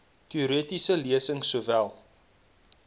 teoretiese lesings sowel